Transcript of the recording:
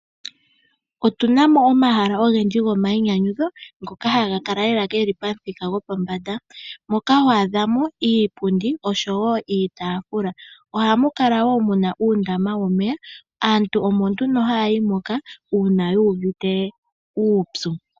Otuna mo omahala ogendji gomainyanyudho ngoka haga kala lela geli pamuthika gopombanda. Moka ho adha mo iipundi oshowo iitafula. Ohamu kala muna wo uundama womeya. Aantu omo nduno haya yi moka, uuna yuuvite uupyu.